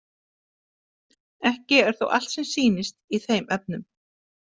Ekki er þó allt sem sýnist í þeim efnum.